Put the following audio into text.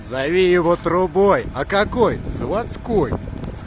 зови его трубой а какой заводской